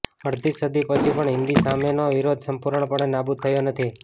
અડધી સદી પછી પણ હિન્દી સામેનો વિરોધ સંપૂર્ણપણે નાબુદ થયો નથી